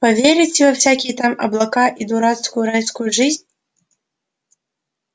поверите во всякие там облака и дурацкую райскую жизнь